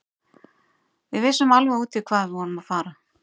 Við vissum alveg út í hvað við vorum að fara.